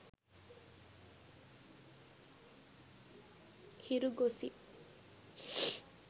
hiru gossip